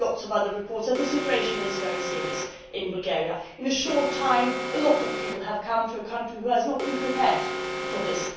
and we have lots of other reports that the situation is very serious in Bulgaria. In a short time, a lot of people have come to a country which has not been prepared for this.